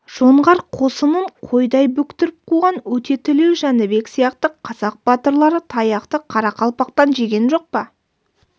жоңғар қосынын қойдай бөктіріп қуған өтетілеу жәнібек сияқты қазақ батырлары таяқты қарақалпақтан жеген жоқ па